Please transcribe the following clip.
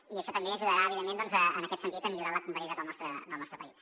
i això també ajudarà evidentment en aquest sentit a millorar la connectivitat del nostre país